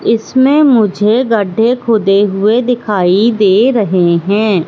इसमें मुझे गड्ढे खोदे हुए दिखाई दे रहे हैं।